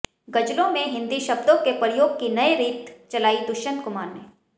ग़ज़लों में हिंदी शब्दों के प्रयोग की नए रीत चलाई दुष्यंत कुमार ने